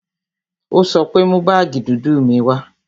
Ó sọ pé "Mú baagi dúdú mi wá"